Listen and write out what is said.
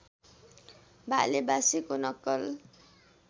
भाले बासेको नक्कल